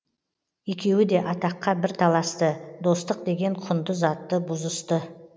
екеуі де атаққа бір таласты достық деген құнды затты бұзысты